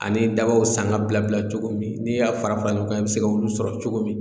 Ani dabaw sanga bila bila cogo min n'i y'a fara fara ɲɔgɔn kan e be se k'olu sɔrɔ cogo min